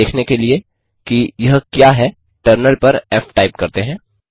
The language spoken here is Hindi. इसे देखने के लिए कि यह क्या है टर्मिनल पर फ़ टाइप करते हैं